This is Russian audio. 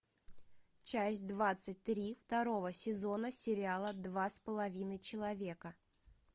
часть двадцать три второго сезона сериала два с половиной человека